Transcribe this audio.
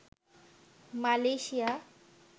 Malaysia